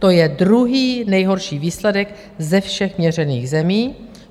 To je druhý nejhorší výsledek ze všech měřených zemí.